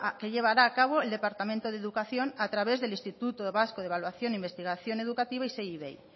que llevará a cabo el departamento de educación a través del instituto vasco de evaluación e investigación educativa isei ivei